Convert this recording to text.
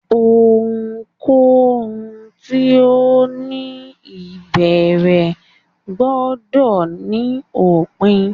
Ohunkohun ti o ni ibẹrẹ gbọdọ ni opin